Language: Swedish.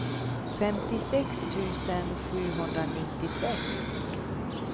femtiosex tusen sjuhundranittiosex